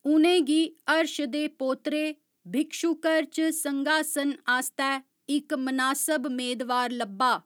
उ'नेंगी हर्श दे पोतरे भिक्षुकर च संघासन आस्तै इक मनासब मेदवार लब्भा।